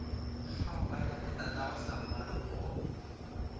kgaoganya le tatagwe sammaruri go